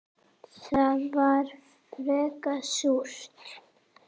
Það var frekar súrt.